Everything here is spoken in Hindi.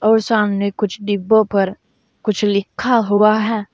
और सामने कुछ डिब्बों पर कुछ लिखा हुआ है।